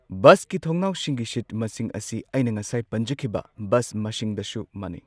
ꯕꯁꯀꯤ ꯊꯣꯡꯅꯥꯎꯁꯤꯡꯒꯤ ꯁꯤꯠ ꯃꯁꯤꯡ ꯑꯁꯤ ꯑꯩꯅ ꯉꯁꯥꯏ ꯄꯟꯖꯈꯤꯕ ꯕꯁ ꯃꯁꯤꯡꯗꯁꯨ ꯃꯥꯟꯅꯩ꯫